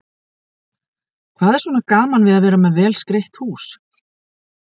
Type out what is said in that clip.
Hvað er svona gaman við að vera með vel skreytt hús?